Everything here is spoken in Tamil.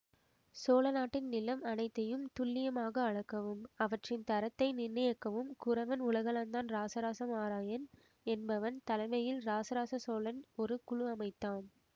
சோழநாட்டின் நிலம் அனைத்தையும் துல்லியமாக அளக்கவும் அவற்றின் தரத்தை நிர்ணயிக்கவும் குரவன் உலகளந்தான் இராசராச மாராயன் என்பவன் தலைமையில் இராசராச சோழன் ஒரு குழு அமைத்தான்